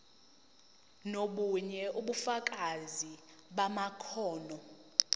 nobunye ubufakazi bamakhono